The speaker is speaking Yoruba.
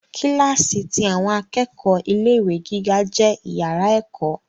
Kílàsì ti àwọn akẹ́kọ̀ọ́ ilé ìwé gíga jẹ iyàrá ẹ̀kọ́.